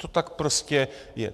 To tak prostě je.